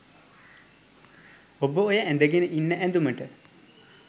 ඔබ ඔය ඇඳගෙන ඉන්න ඇඳුමට